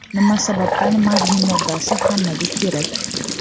Nima sababdan magniy moddasi hammaga kerak?.